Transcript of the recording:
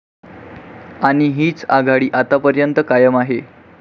आणि हीच आघाडी आतापर्यंत कायम आहे.